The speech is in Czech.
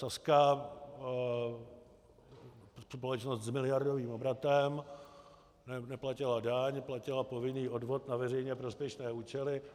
Sazka, společnost s miliardovým obratem, neplatila daň, platila povinný odvod na veřejně prospěšné účely.